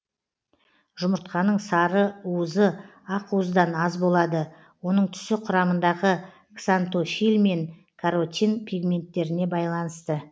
жұмыртқаның сарыуызы ақуыздан аз болады оның түсі құрамындағы ксантофиль мен каротин пигменттеріне байланысты